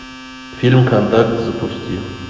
фильм контакт запусти